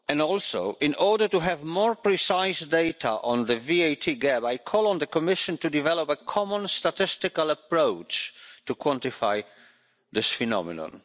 Also, in order to have more precise data on the VAT gap, I call on the Commission to develop a common statistical approach to quantify this phenomenon.